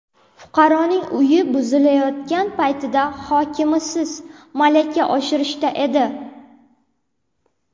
Fuqaroning uyi buzilayotgan paytda hokimimiz malaka oshirishda edi.